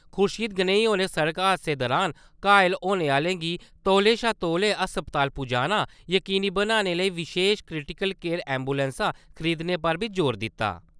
खुर्शीद गनई होरें सड़क हादसें दौरान घाऽल होने आह्‌लें गी तौले शा तौले अस्पताल पजाना जकीनी बनाने लेई बिशेश क्रिटिकल केयर एम्बुलैंसां खरीदने पर बी जोर दित्ता।